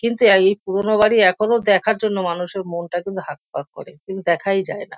কিন্তু এই পুরোনো বাড়ি এখনো দেখার জন্য মানুষের মনটা কিন্তু হাঁকপাঁক করে কিন্তু দেখাই যায় না।